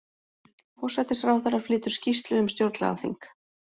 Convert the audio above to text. Forsætisráðherra flytur skýrslu um stjórnlagaþing